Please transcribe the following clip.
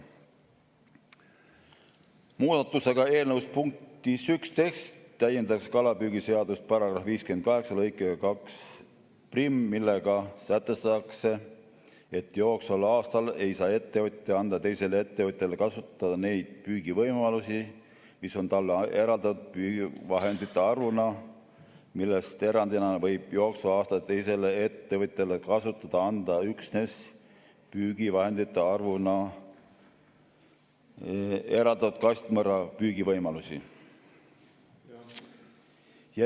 Muudatusega eelnõu punktis 11 täiendatakse kalapüügiseaduse § 58 lõikega 21, millega sätestatakse, et jooksval aastal ei saa ettevõtja anda teisele ettevõtjale kasutada neid püügivõimalusi, mis on talle eraldatud püügivahendite arvuna, millest erandina võib jooksval aastal teisele ettevõtjale kasutada anda üksnes püügivahendite arvuna eraldatud kastmõrraga püügivõimalusi.